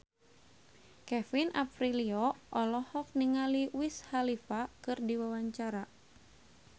Kevin Aprilio olohok ningali Wiz Khalifa keur diwawancara